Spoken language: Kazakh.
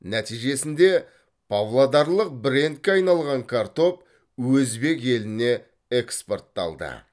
нәтижесінде павлодарлық брендке айналған картоп өзбек еліне экспортталды